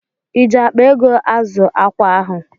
Iji akpa ego azụ ákwà ahụ?